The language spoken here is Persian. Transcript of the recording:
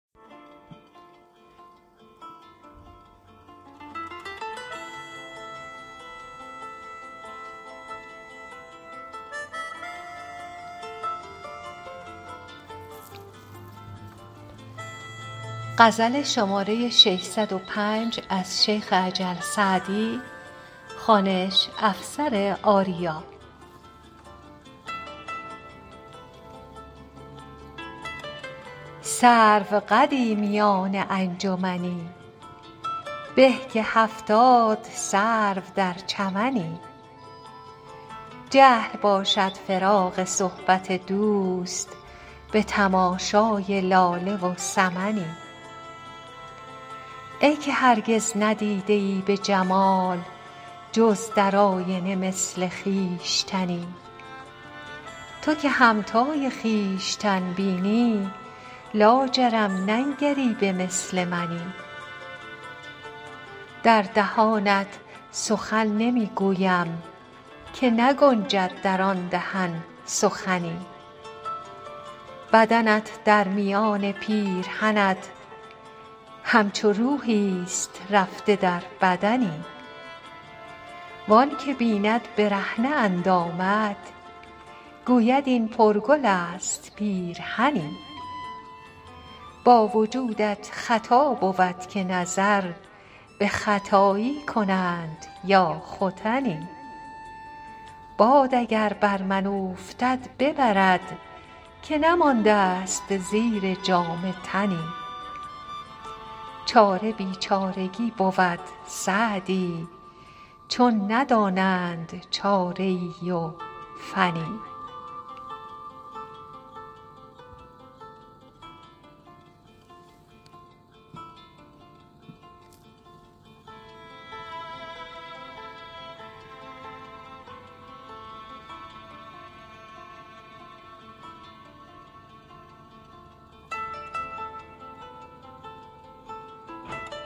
سروقدی میان انجمنی به که هفتاد سرو در چمنی جهل باشد فراق صحبت دوست به تماشای لاله و سمنی ای که هرگز ندیده ای به جمال جز در آیینه مثل خویشتنی تو که همتای خویشتن بینی لاجرم ننگری به مثل منی در دهانت سخن نمی گویم که نگنجد در آن دهن سخنی بدنت در میان پیرهنت همچو روحیست رفته در بدنی وآن که بیند برهنه اندامت گوید این پرگل است پیرهنی با وجودت خطا بود که نظر به ختایی کنند یا ختنی باد اگر بر من اوفتد ببرد که نمانده ست زیر جامه تنی چاره بیچارگی بود سعدی چون ندانند چاره ای و فنی